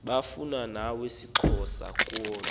abufana nawesixhosa kodwa